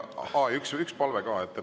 Aa, üks palve ka.